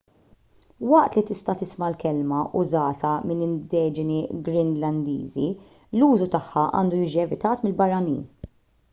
waqt li tista' tisma' l-kelma użata mill-indiġeni greenlandiżi l-użu tagħha għandu jiġi evitat mill-barranin